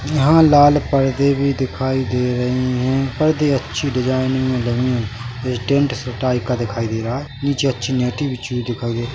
यहाँ लाल पर्दे भी दिखाई दे रहे है पर्दे अच्छी डिजाइन मे बनी है ये टेंट से टाइप का दिखाई दे रहा है नीचे अच्छी नेटी बिछी हुई दिखाई दे रही है।